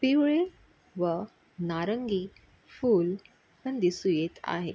पिवळी व नारंगी फूल पण दिसू येत आहे.